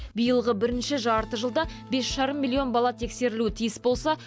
биылғы бірінші жартыжылдықта бес жарым миллион бала тексерілуі тиіс болса